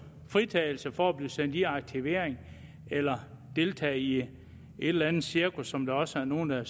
fritagelse for at blive sendt i aktivering eller deltage i et eller andet cirkus som der også er nogle